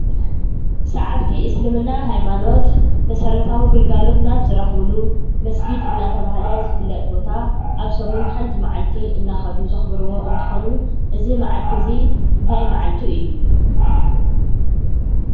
ሰዓብቲ እሰልምና ሃይማኖት መሰረታዊ ግልጋሎት ናብ ዝረኽብሉ መስጊድ ቦታ እንዳተባሃለ ዝፍለጥ ቦታ ኣብ ሰሙን ሓንቲ ማዓልቲ እንዳኸዱ ዘክብርዎ እንትኾኑ እዚ መዓልቲ እዙይ እንታይ መዓልቱ እዩ ?